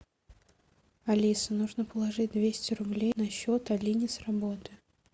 алиса нужно положить двести рублей на счет алине с работы